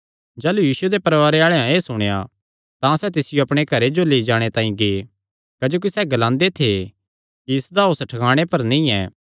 जाह़लू यीशुये दे परवारे आल़ेआं एह़ सुणेया तां सैह़ तिसियो पकड़णा निकल़े क्जोकि सैह़ ग्लांदे थे कि इसदा होस ठकाणे पर नीं ऐ